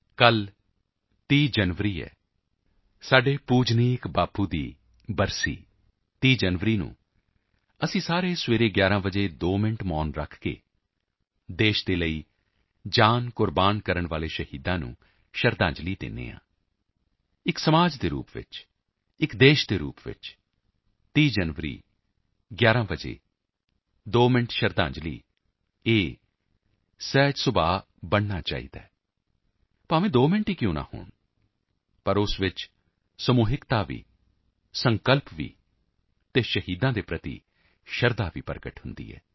ਕੱਲ੍ਹ 30 ਜਨਵਰੀ ਹੈ ਸਾਡੇ ਪੂਜਣਯੋਗ ਬਾਪੂ ਦੀ ਬਰਸੀ ਹੈ 30 ਜਨਵਰੀ ਨੂੰ ਅਸੀਂ ਸਾਰੇ ਸਵੇਰੇ 11 ਵਜੇ 2 ਮਿੰਟ ਮੌਨ ਰੱਖ ਕੇ ਦੇਸ਼ ਲਈ ਪ੍ਰਾਣ ਤਿਆਗਣ ਵਾਲੇ ਸ਼ਹੀਦਾਂ ਨੂੰ ਸ਼ਰਧਾਂਜਲੀ ਦਿੰਦੇ ਹਾਂ ਇੱਕ ਸਮਾਜ ਦੇ ਰੂਪ ਵਿੱਚ ਇੱਕ ਦੇਸ਼ ਦੇ ਰੂਪ ਵਿੱਚ 30 ਜਨਵਰੀ 11 ਵਜੇ 2 ਮਿੰਟ ਸ਼ਰਧਾਂਜਲੀ ਇਹ ਸਹਿਜ ਸੁਭਾਅ ਬਣਨਾ ਚਾਹੀਦਾ ਹੈ 2 ਮਿੰਨ ਕਿਉਂ ਨਾ ਹੋਣ ਪਰ ਇਸ ਵਿੱਚ ਸਮੂਹਿਕਤਾ ਵੀ ਸਕੰਲਪ ਵੀ ਅਤੇ ਸ਼ਹੀਦਾਂ ਪ੍ਰਤੀ ਸ਼ਰਧਾ ਵੀ ਪ੍ਰਗਟ ਹੁੰਦੀ ਹੈ